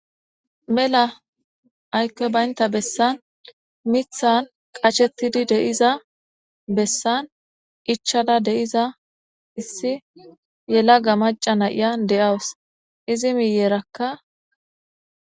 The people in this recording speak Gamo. mela aykkoy baynta bessan mithan qashettidi deiza bessan ichada de7iza issi yelaga maca na iya de7awus izi miyerakka